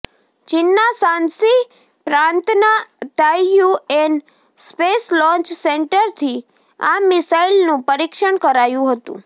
ચીનના શાન્શી પ્રાંતના Taiyuan space launch સેન્ટરથી આ મિસાઈલનું પરીક્ષણ કરાયું હતું